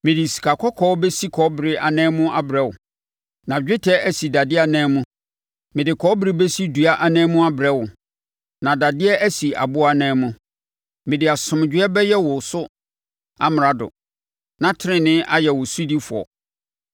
Mede sikakɔkɔɔ bɛsi kɔbere anan mu abrɛ wo, na dwetɛ asi dadeɛ anan mu. Mede kɔbere bɛsi dua anan mu abrɛ wo, na dadeɛ asi aboɔ anan mu. Mede asomdwoeɛ bɛyɛ wo so amrado na tenenee ayɛ wo sodifoɔ.